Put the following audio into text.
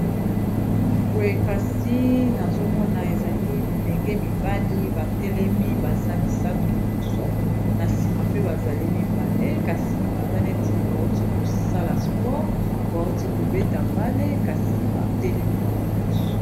Boye kasi nazomona ezali bilenge mibali batelemi baza misato liboso na sima pe bazali mibale kasi baza neti bawuti kosala sport bawuti kobeta bale kasi batelemi bango nyonso